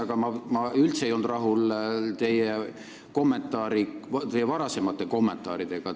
Aga ma ei ole üldse rahul teie varasemate kommentaaridega.